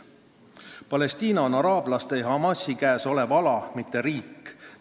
Palestiina on araablaste ja Hamasi käes olev ala, mitte riik.